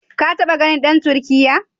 Ka taɓa ganin dan Turkiyya?